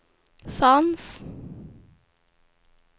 fanns